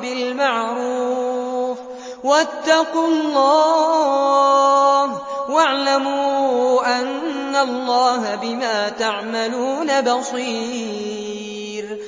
بِالْمَعْرُوفِ ۗ وَاتَّقُوا اللَّهَ وَاعْلَمُوا أَنَّ اللَّهَ بِمَا تَعْمَلُونَ بَصِيرٌ